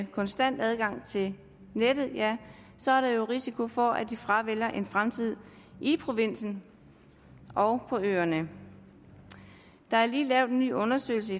konstant adgang til nettet ja så er der jo risiko for at de fravælger en fremtid i provinsen og på øerne der er lige lavet en ny undersøgelse